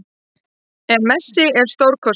En Messi er stórkostlegur